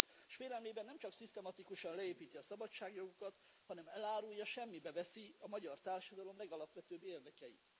És félelmében nemcsak szisztematikusan leépíti a szabadságjogokat, hanem elárulja, semmibe veszi a magyar társadalom legalapvetőbb érdekeit.